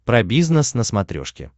про бизнес на смотрешке